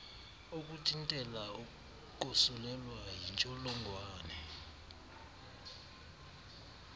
ukuthintela ukosulelwa yintsholongwane